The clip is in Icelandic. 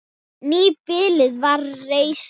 Nýbýli var reist.